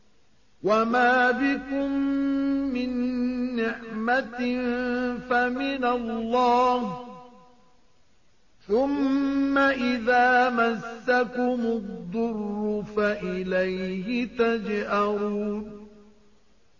وَمَا بِكُم مِّن نِّعْمَةٍ فَمِنَ اللَّهِ ۖ ثُمَّ إِذَا مَسَّكُمُ الضُّرُّ فَإِلَيْهِ تَجْأَرُونَ